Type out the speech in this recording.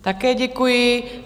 Také děkuji.